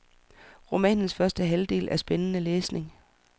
Romanens første halvdel er spændende læsning.